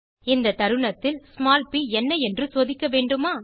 இந்த தருணத்தில் ஸ்மால் ப் என்ன என்று சோதிக்க வேண்டுமா